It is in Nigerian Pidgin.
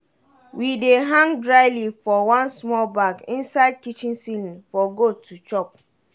we dey hang dry leaf for one smol bag inside kitchen ceiling for goat to chop.